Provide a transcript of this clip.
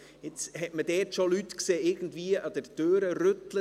Jetzt hat man schon Leute gesehen, die an dieser Türe rüttelten …